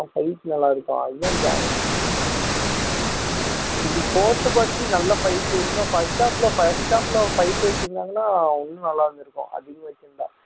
ஆமா fight நல்லா இருக்கும் அதுதான் இது fourth part லயும் நல்ல fight இன்னும் first half ல first half ல fight வச்சிருந்தாங்கன்னா இன்னும் நல்லா இருந்திருக்கும் அதிகமா வச்சிருந்தா